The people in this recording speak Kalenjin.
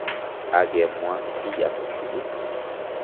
kakemwa kiy age tugul